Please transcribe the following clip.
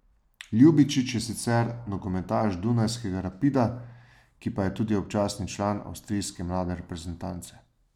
Ljubičić je sicer nogometaš dunajskega Rapida, ki je tudi občasni član avstrijske mlade reprezentance.